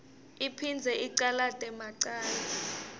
iphindze icalate macala